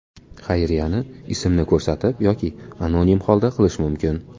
Xayriyani ismni ko‘rsatib yoki anonim holda qilish mumkin.